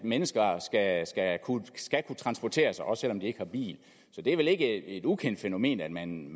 at mennesker skal kunne transportere sig også selv om de ikke har bil så det er vel ikke et ukendt fænomen at man